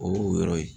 O y'o yɔrɔ ye